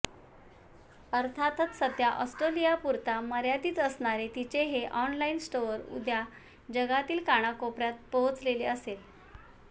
अर्थातच सध्या ऑस्ट्रेलियापुरता मर्यादित असणारे तिचे हे ऑनलाईन स्टोअर उद्या जगातील कानाकोपर्यात पोहोचलेले असेल